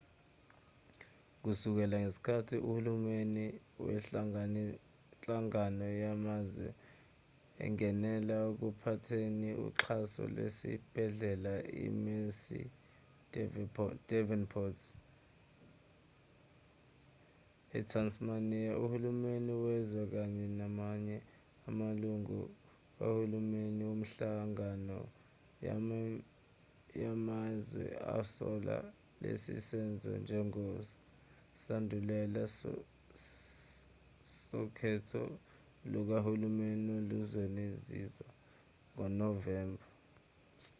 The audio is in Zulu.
kusukela ngesikhathi uhulumeni wenhlangano yamazwe ungenela ekuphatheni uxhaso lwesibhedlela i-mersey edevonport ethasmaniya uhulumeni wezwe kanye namanye amalungu kahulumeni wenhlangano yamazwe asola lesi senzo njengesandulela sokhetho lukahulumeni oluzokwenziwa ngonovemba